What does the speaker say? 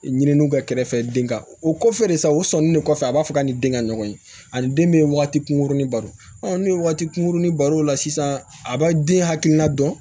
Ɲininiw kɛ kɛrɛfɛ den ka o kɔfɛ de sa u sɔnnen de kɔfɛ a b'a fɔ k'a ni den ka ɲɔgɔn ye ani den min bɛ waati kunkurunin baro ne ye waati kunkurunin baro o la sisan a b'a den hakilina dɔn